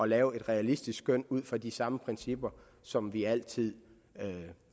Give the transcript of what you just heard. lave et realistisk skøn ud fra de samme principper som vi altid